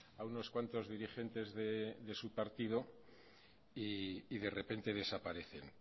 a unos cuantos dirigentes de su partido y de repente desaparecen